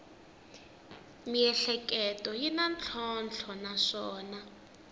miehleketo yi na ntlhontlho naswona